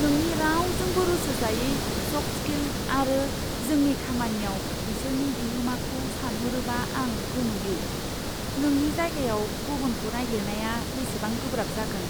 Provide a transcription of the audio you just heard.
नोंनि रावजोंबो रुजुजायै सफ्ट स्किल आरो जोंनि खामानियाव बिसोरनि बिहोमाखौ सानहरोबा आं गोमोयो। नोंनि जायगायाव गुबुनखौ नागिरनाया बेसेबां गोब्राब जागोन,